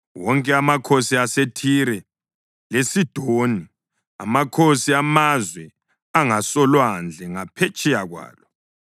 wonke amakhosi aseThire, leSidoni; amakhosi amazwe angasolwandle ngaphetsheya kwalo,